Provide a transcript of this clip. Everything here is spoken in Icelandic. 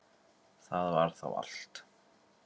Það var þá allt.